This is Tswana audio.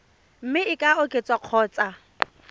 mme e ka oketswa kgotsa